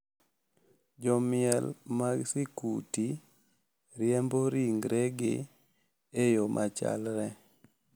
Jo miel mag sikuti riembo ringregi e yoo machalre,